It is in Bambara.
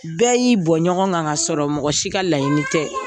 Bɛɛ y'i bɔn ɲɔgɔn kan ka sɔrɔ mɔgɔ si ka laɲini tɛ.